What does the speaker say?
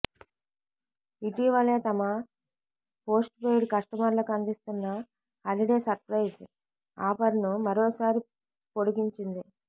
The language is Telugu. ఇటీవలే తమ పోస్ట్పెయిడ్ కష్టమర్లకు అందిస్తున్న హలిడే సర్ప్రైజ్ ఆఫర్ను మరోసారి పొడిగించింది